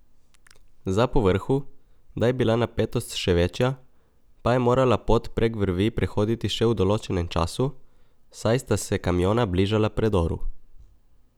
Za povrhu, da je bila napetost še večja, pa je morala pot prek vrvi prehoditi še v določenem času, saj sta se kamiona bližala predoru.